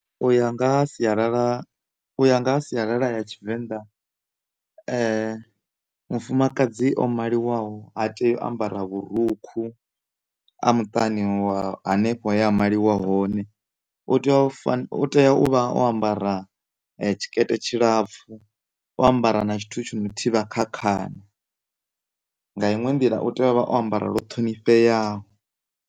U ya nga ha sialala u ya nga ha sialala ya tshivenḓa mufumakadzi o maliwaho ha tei u ambara vhurukhu a muṱani wa hanefho he a maliwa hone u tea u , u tea u vha o ambara tshikete tshilapfhu o ambara na tshithu tshi no thivha kha khana nga iṅwe nḓila u tea uvha o ambara lu ṱhonifheaho.